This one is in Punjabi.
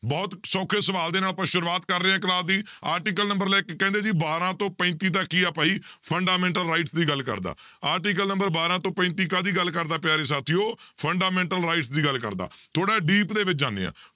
ਬਹੁਤ ਸੌਖੇ ਸਵਾਲ ਦੇ ਨਾਲ ਆਪਾਂ ਸ਼ੁਰੂਆਤ ਕਰ ਰਹੇ ਹਾਂ class ਦੀ article number ਲਿਖਕੇ ਕਹਿੰਦੇ ਜੀ ਬਾਰਾਂ ਤੋਂ ਪੈਂਤੀ ਤੱਕ ਹੀ ਆ ਭਾਈ fundamental rights ਦੀ ਗੱਲ ਕਰਦਾ, article number ਬਾਰਾਂ ਤੋਂ ਪੈਂਤੀ ਕਾਹਦੀ ਗੱਲ ਕਰਦਾ ਪਿਆਰੇ ਸਾਥੀਓ fundamental rights ਦੀ ਗੱਲ ਕਰਦਾ, ਥੋੜ੍ਹਾ deep ਦੇ ਵਿੱਚ ਜਾਂਦੇ ਹਾਂ